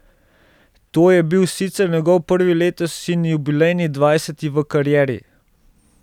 To je bil sicer njegov prvi letos in jubilejni dvajseti v karieri.